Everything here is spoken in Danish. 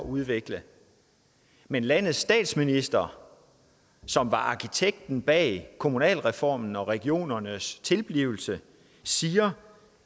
udvikling men landets statsminister som var arkitekten bag kommunalreformen og regionernes tilblivelse siger